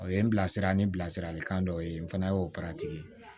O ye n bilasira ni bilasiralikan dɔ ye n fana ye o